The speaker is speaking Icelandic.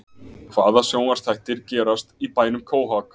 Hvaða sjónvarpsþættir gerast í bænum Quahog?